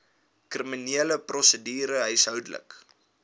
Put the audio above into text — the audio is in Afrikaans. kriminele prosedure huishoudelike